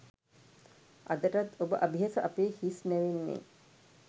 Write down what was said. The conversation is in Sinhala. අදටත් ඔබ අභියස අපේ හිස් නැවෙන්නේ